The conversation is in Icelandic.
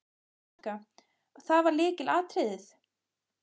Helga: Það var lykilatriðið?